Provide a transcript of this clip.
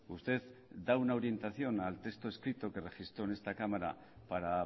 usted da una orientación al texto escrito que registró en esta cámara para